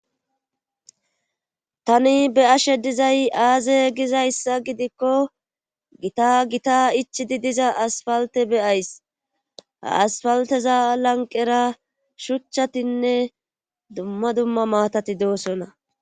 tani be'ashe dizay aaze gizayssa gidikko gita gita ichi di diza asfalte beyays aasfalteza lanqera shuchchatinne dumma dumma maatati doosona